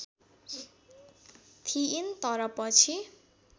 थिइन् तर पछि